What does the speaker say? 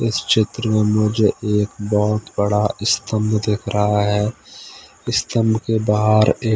इस चित्र में मुझे एक बहुत बड़ा स्तंभ दिख रहा है स्तंभ के बाहर एक--